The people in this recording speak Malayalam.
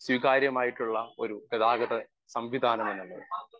സ്പീക്കർ 1 സ്വീകാര്യമായിട്ടുള്ള ഒരു ഗതാഗത സംവിധാനമെന്നുള്ളത്.